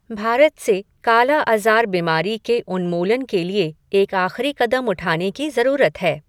भारत से काला अज़ार बीमारी के उन्मूलन के लिए एक आख़िरी कदम उठाने की जरूरत है।